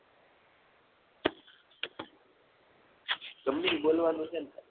ગમે ઇ બોલવાનું છે ને?